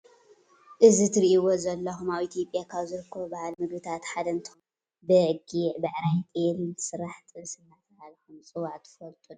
እዚ እትሪእዎ ዘለኹም ኣብ ኢትዮጵያ ኣብ ዝርከቡ ባህላዊ ምግብታት ሓደ እንትኸውን ካብ ስጋ በጊዕ ፣ ብዕራይ፣ ጤል እንትስራሕ ጥብሲ እናተብሃለ ከም ዝፅዋዕ ትፈልጡ ዶ?